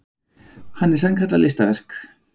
Hann er sannkallað listaverk.